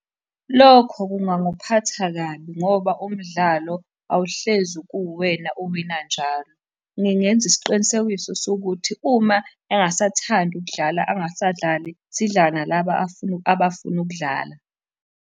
Lokho kungangiphatha kabi ngoba umdlalo awuhlezi kuwuwena owina njalo. Ngingenza isiqinisekiso sokuthi, uma engasathandi ukudlala angasadlali, sidlalale nalaba abafuna ukudlala.